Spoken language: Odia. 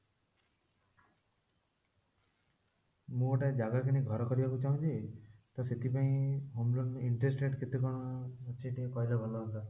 ମୁଁ ଗୋଟେ ଜାଗା କିଣି ଘର କରିବାକୁ ଚାହୁଁଛି ତ ସେଥିପାଇଁ home loan interest rate କେତେ କଣ ଅଛି କହିଲେ ଭଲ ହୁଅନ୍ତା